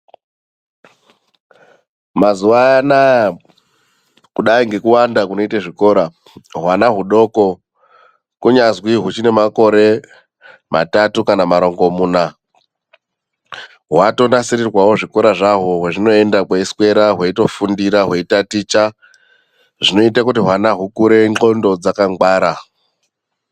Mazuva anaa kudai ngekuwanda kunoite zvikora, hwana hudoko kunyanzi huchinemakore matatu kana marongomuna hwatonasirirwawo zvikora zvahwo kwehunoenda hweiswera hweitofundira hweitaticha. Zvinoite kuti hwana hukure nhlondo dzakangwara.